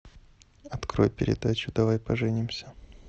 открой передачу давай поженимся